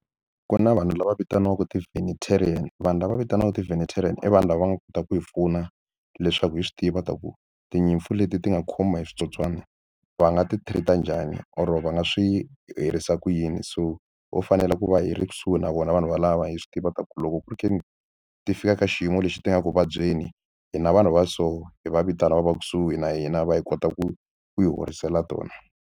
Ku na vanhu lava vitaniwaka vanhu lava va vitaniwaka i vanhu lava va nga kotaka ku hi pfuna leswaku hi swi tiva ta ku tinyimpfu leti ti nga khomiwa hi switsotswana va nga ti-treat-a njhani or va nga swi herisa ku yini so ho fanele ku va hi ri kusuhi na vona vanhu valava hi swi tiva ku loko ku ri ka ti fika ka xiyimo lexi ti nga ri ku vabyeni hi na vanhu va so hi va vitana va va kusuhi na hina va hi kota ku hi horisela tona.